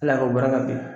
Ala ka baara ka gɛlɛn